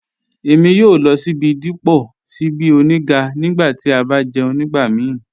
Èmi yòò lọ síbí dípọ̀ síbí ọ̀nígà nígbà tí a bá jẹ̀ún nígbàmíì